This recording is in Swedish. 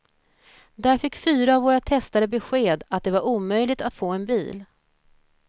Där fick fyra av våra testare besked att det var omöjligt att få en bil.